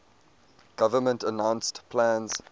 government announced plans